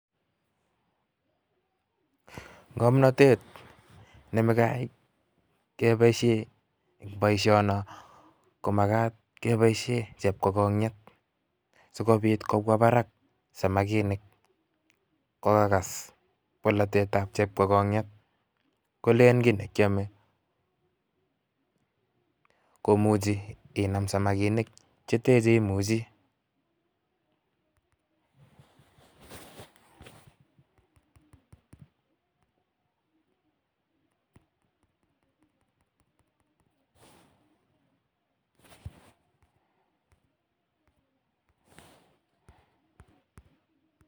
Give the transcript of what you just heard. Ng'omnotet nemakai keboishen boishono komakat keboishen chepkokong'et sikobit kobwa barak samakinik kokakas bolotetab chepkokong'et koleen kii nekiome komuchi Inam samakinik cheten cheimuchi.